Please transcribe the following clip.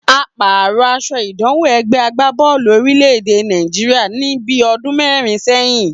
A pàrò̩ as̩o̩ ìdámò̩ e̩gbé̩ agbábó̩ò̩lù orílè̩-èdè Nàìjíríà ní bí o̩dún mé̩rin sé̩yìn